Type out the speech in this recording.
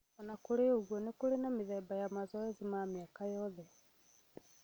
O na kũrĩ ũguo, nĩkũrĩ na mĩthemba ya mazoezi ma mĩaka yothe